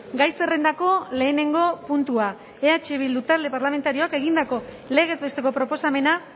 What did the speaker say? gai zerrendako lehenengo puntua eh bildu talde parlamentarioak egindako legez besteko proposamena